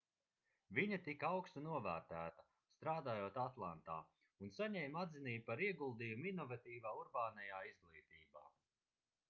viņa tika augstu novērtēta strādājot atlantā un saņēma atzinību par ieguldījumu inovatīvā urbānajā izglītībā